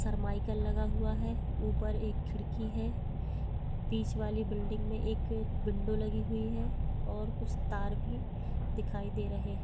सरम्य्कल लगा हुआ है ऊपर एक खिड़की हैं बीच वाली बिल्डिंग में एक विंडो लगी हुई है और कुछ टार भी दिखाई दे रहे हैं।